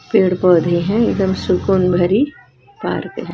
पेड़ पौधे हैं एकदम सुकून भरी पार्क है।